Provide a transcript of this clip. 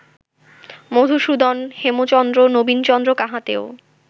Madhusudan, Hemchandra, Nabinchandra কাহাতেও